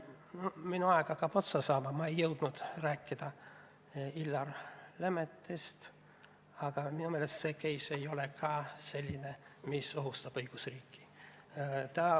Minu aeg hakkab otsa saama, ma ei jõudnud rääkida Illar Lemettist, aga minu meelest see case ei ole ka selline, mis ohustab õigusriiki.